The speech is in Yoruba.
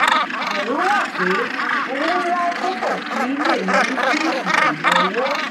ìbẹ̀rù wà pé owó ńlá tó pọ̀ sí i lè yọrí sí ìdènà owó.